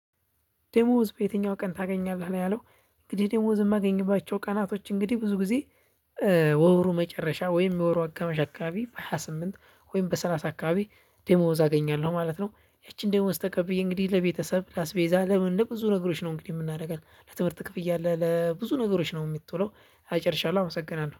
ዴሞዝ በየትኛው ቀን ታገኛለህ ነው ያለው እንግዲህ ዴሞዝ የማገኝባቸው ቀናቶች እንግዲህ ብዙ ጊዜ በወሩ መጨረሻ ወይም የወሩ አጋማሽ አከባቢ በሃያ ስምንት ወይም በሰላሳ አካባቢ ዴሞዝ አገኛለሁ ማለት ነው። ያቺን ደሞዝ ተቀብዬ እንግዲህ ለቤተሰብ ለአስቤዛ ለምንም ብዙ ነገሮች ነው እንግዲህ የምናደርጋት ለትምህርት ክፍያ አለ ለብዙ ነገሮች ነው የምትውለው ጨርሻለሁ አመሰግናለሁ።